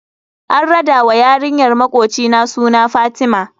An rada wa yarinyar makocina suna Fatima.